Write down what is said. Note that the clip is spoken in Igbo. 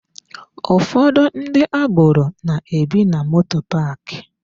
Ụfọdụ ndị agboro na-ebi na moto paaki.